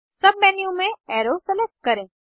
submenu में arrow select करें